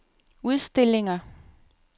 udstillinger